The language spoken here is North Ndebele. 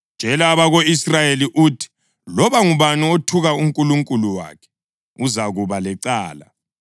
Tshela abako-Israyeli uthi, ‘Loba ngubani othuka uNkulunkulu wakhe, uzakuba lecala.